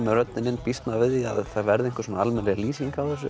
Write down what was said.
með röddina þá býst maður við að það verði almennileg lýsing